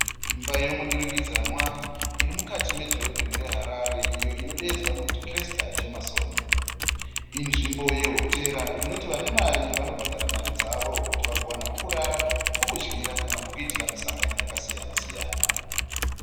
Imba yemu durikidzanwa irimukati medhorobheni re Harare. Iyo inodeedzwa nekuti Kresta Jameson. I nzvimbo ye Hotera inoti vanemari vanobhadhara mari dzavo kuti vagowana pekurara, pekudyira kana pekuitira misangano yakasiyana siyana.